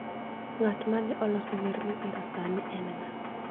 ng'at ma ne oloso wer ma iweroni sani en ng'a?